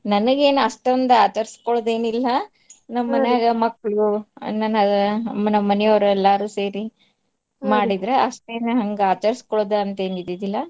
ನನಿಗೇನ್ ಅಷ್ಟೊಂದ್ ಆಚರ್ಸ್ಕೋಳೋದ್ ಏನ್ ಇಲ್ಲಾ ಮನ್ಯಾಗ ಮಕ್ಳು ಅಣ್ಣನವ್ರು ನಮ್ ಮನಿಯೋರ್ ಎಲ್ಲಾರೂ ಸೇರಿ ಅಷ್ಟೇನಾ ಹಂಗ ಆಚರ್ಸ್ಕೋಳೋದ್ ಅಂತ್ ಏನ್ ಇದ್ದಿದ್ದಿಲ್ಲ.